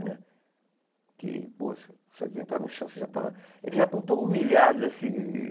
Né? Que poxa se você tentar no chão, você já está eles já estão tão humilhados assim.